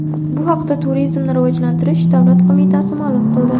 Bu haqda Turizmni rivojlantirish davlat qo‘mitasi ma’lum qildi .